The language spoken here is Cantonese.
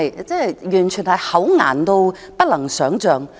這是否厚顏得不能想象？